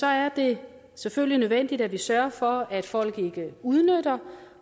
er det selvfølgelig nødvendigt at vi sørger for at folk ikke udnytter